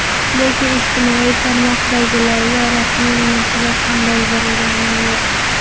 Lekin ijtimoiy tarmoqdagilarga rasmiy munosabat ham bildirganim yo‘q.